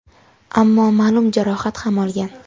ammo ma’lum jarohat ham olgan.